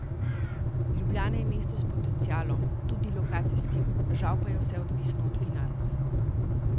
Ljubljana je mesto s potencialom, tudi lokacijskim, žal pa je vse odvisno od financ.